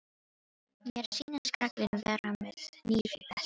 Mér sýnist karlinn vera með hníf í beltinu.